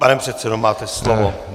Pane předsedo, máte slovo.